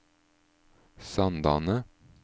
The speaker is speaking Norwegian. Sandane